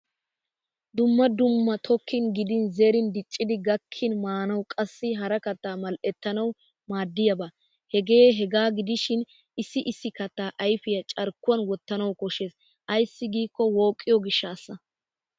Dumma dumma tokkin gidin zerin dicciydi gakkin maanawu qassi hara kattaa mal'ettanawu maaddiyaaba. hegee hegaa gidishin issi issi kattaa ayfiya carkkuwan wottanawu koshshes ayssi giikko wooqqiyo gishshaassa.